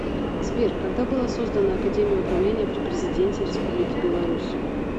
сбер когда была создана академия управления при президенте республики беларусь